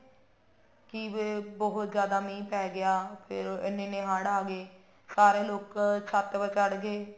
ਕਿ ਇਹ ਬਹੁਤ ਜਿਆਦਾ ਮੀਂਹ ਪੇ ਗਿਆ ਫੇਰ ਇੰਨੇ ਇੰਨੇ ਹੜ ਆ ਗਏ ਸਾਰੇ ਲੋਕ ਛੱਤ ਤੇ ਚੜ ਗਏ